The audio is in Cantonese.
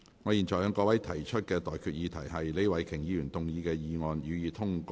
我現在向各位提出的待決議題是：李慧琼議員動議的議案，予以通過。